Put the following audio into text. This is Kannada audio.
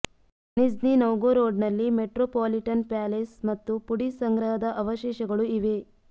ನಿಜ್ನಿ ನವ್ಗೊರೊಡ್ನಲ್ಲಿ ಮೆಟ್ರೋಪಾಲಿಟನ್ ಪ್ಯಾಲೇಸ್ ಮತ್ತು ಪುಡಿ ಸಂಗ್ರಹದ ಅವಶೇಷಗಳು ಇವೆ